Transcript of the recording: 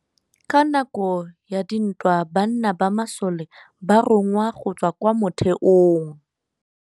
Ka nakô ya dintwa banna ba masole ba rongwa go tswa kwa mothêô.